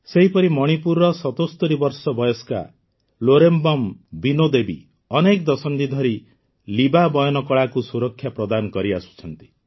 ସେହିପରି ମଣିପୁରର ୭୭ ବର୍ଷ ବୟସ୍କା ଲୌରେମ୍ବମ୍ ବିନୋ ଦେବୀ ଅନେକ ଦଶନ୍ଧି ଧରି ଲିବା ବୟନ କଳାକୁ ସୁରକ୍ଷା ପ୍ରଦାନ କରିଆସିଛନ୍ତି